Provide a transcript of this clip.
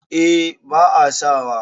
eh ba a sawa